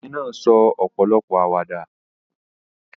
The woman said many jokes